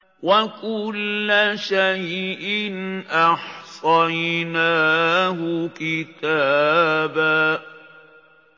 وَكُلَّ شَيْءٍ أَحْصَيْنَاهُ كِتَابًا